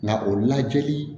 Nka o lajɛli